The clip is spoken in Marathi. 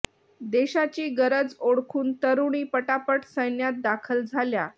देशाची गरज ओळखून तरुणी पटापट सैन्यात दाखल झाल्या